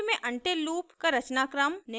ruby में until loop का रचनाक्रम निम्न प्रकार है: